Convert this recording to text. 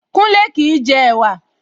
Kúnlé kìí jẹ ẹ̀wa